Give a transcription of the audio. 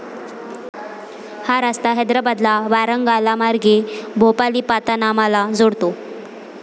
हा रस्ता हैद्राबादला वारांगालामार्गे भोपालीपातानामाला जोडतो.